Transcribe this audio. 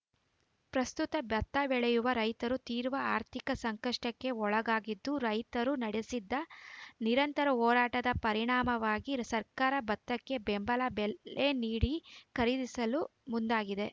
ಪ್ರಸ್ತುತ ಭತ್ತ ಬೆಳೆಯುವ ರೈತರು ತೀವ್ರ ಆರ್ಥಿಕ ಸಂಕಷ್ಟಕ್ಕೆ ಒಳಗಾಗಿದ್ದು ರೈತರು ನಡೆಸಿದ ನಿರಂತರ ಹೋರಾಟದ ಪರಿಣಾಮವಾಗಿ ಸರ್ಕಾರ ಭತ್ತಕ್ಕೆ ಬೆಂಬಲ ಬೆಲೆ ನೀಡಿ ಖರೀದಿಸಲು ಮುಂದಾಗಿದೆ